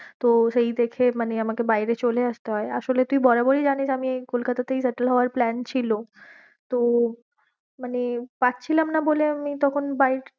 তো সেই দেখে মানে আমাকে বাইরে চলে আসতে হয়ে, আসলে তুই বরাবরই জানিস আমি এই কলকাতাতেই settle হওয়ার plan ছিল তো মানে পাচ্ছিলাম না বলে আমি তখন বাই~